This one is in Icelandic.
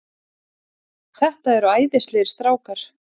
Þetta eru æðislegir strákar.